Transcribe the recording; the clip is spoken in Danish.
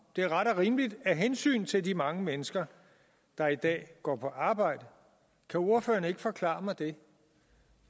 det er ret og rimeligt af hensyn til de mange mennesker der i dag går på arbejde kan ordføreren ikke forklare mig